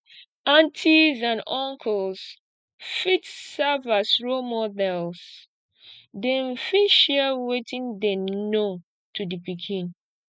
aunties and auncles fit serve as role models dem fit share wetin dem know to the pikin